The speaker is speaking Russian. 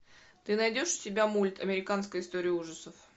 ты найдешь у себя мульт американская история ужасов